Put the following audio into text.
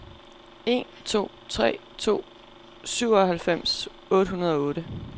en to tre to syvoghalvfems otte hundrede og otte